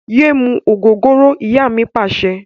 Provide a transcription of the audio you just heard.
Yé mú ògógóró! Ìyá mi Pàṣẹ.